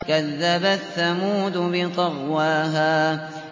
كَذَّبَتْ ثَمُودُ بِطَغْوَاهَا